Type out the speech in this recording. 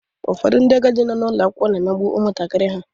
Ụfọdụ ndị agadi nọ n'ụlọ akwụkwọ na-emegbu ụmụntakịrị ha.